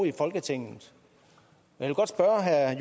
i folketinget jeg vil godt spørge herre